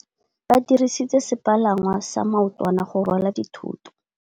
Ba dirisitse sepalangwasa maotwana go rwala dithôtô.